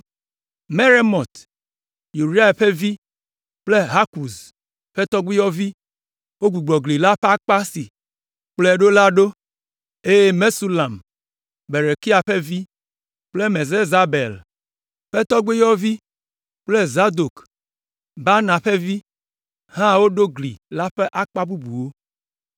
Meremot, Uria ƒe vi kple Hakɔz ƒe tɔgbuiyɔvi wogbugbɔ gli la ƒe akpa si kplɔe ɖo la ɖo, eye Mesulam, Berekia ƒe vi kple Mesezabel ƒe tɔgbuiyɔvi kple Zadok, Baana ƒe vi, hã woɖo gli la ƒe akpa bubuwo.